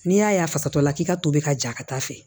N'i y'a ye a fasatɔ la k'i ka tobi ka ja ka taa fɛ